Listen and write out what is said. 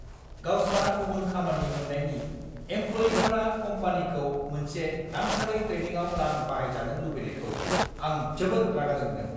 गावस्रा गुबुन खामानि मोन्नायनि एमप्ल'यिफोरा कम्पानिखौ मोनसे नांथारै ट्रेनिंआव रां बाहायजानो लुबैनायखौ आं जोबोद रागा जोंदों।